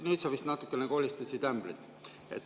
Nüüd sa vist natukene kolistasid ämbrit.